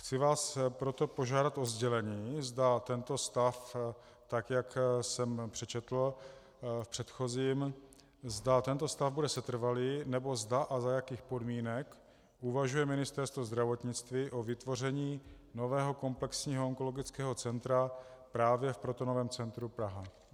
Chci vás proto požádat o sdělení, zda tento stav, tak jak jsem přečetl v předchozím, zda tento stav bude setrvalý, nebo zda a za jakých podmínek uvažuje Ministerstvo zdravotnictví o vytvoření nového komplexního onkologického centra právě v Protonovém centru Praha.